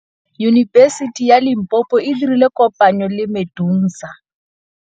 Yunibesiti ya Limpopo e dirile kopanyô le MEDUNSA.